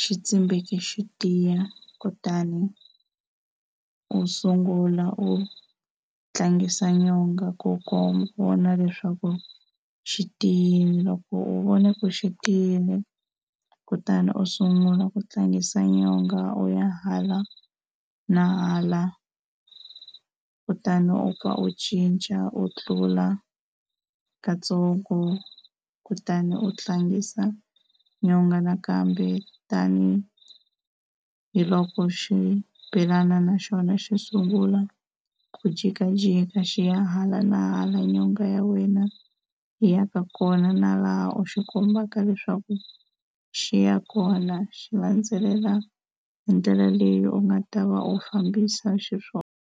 xi tsimbeke xi tiya, kutani u sungula u tlangisa nyonga ku ku vona leswaku xi tiyile. Loko u vone ku xi tiyile kutani u sungula ku tlangisa nyonga u ya hala na hala kutani u kha u cinca u tlula katsongo kutani u tlangisa nyonga nakambe tanihiloko xibelana naxona xi sungula ku jikajika xi ya hala na hala nyonga ya wena yi ya ka kona na laha u xi kombaka leswaku xi ya kona xi landzelela hi ndlela leyi u nga ta va u fambisa xiswona.